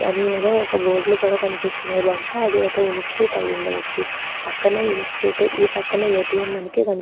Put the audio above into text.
అని ఏదో ఒక్క బోర్డ్ లు కూడా కనిపిస్తున్నాయి బహుశ అది ఒక్క ఇన్స్టిట్యూట్ అయ్యుండచ్చు పక్కనే ఇన్స్టిట్యూట్ ఈపక్కనే ఎటిఎం మనకి కనిపి --.